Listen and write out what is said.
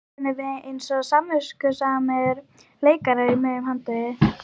spurðum við eins og samviskusamir leikarar í miðju handriti.